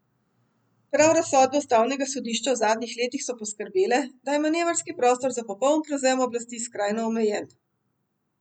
Prav razsodbe ustavnega sodišča v zadnjih letih so poskrbele, da je manevrski prostor za popoln prevzem oblasti skrajno omejen.